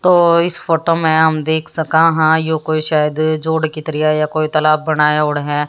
तो इस फोटो में हम देख सका हां यो कोई शायद जोड़ की तरह या कोई तालाब बनाए औड है।